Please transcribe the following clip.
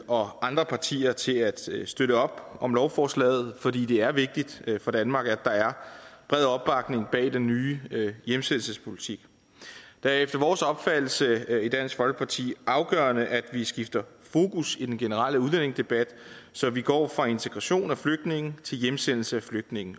og andre partier til at støtte støtte op om lovforslaget fordi det er vigtigt for danmark at der er bred opbakning bag den nye hjemsendelsespolitik det er efter vores opfattelse i dansk folkeparti afgørende at vi skifter fokus i den generelle udlændingedebat så vi går fra integration af flygtninge til hjemsendelse af flygtninge